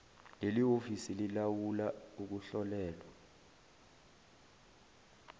lelihhovisi lilawula ukuhlolelwa